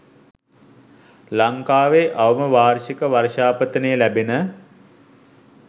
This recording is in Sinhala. ලංකාවේ අවම වාර්ෂික වර්ෂාපතනය ලැබෙන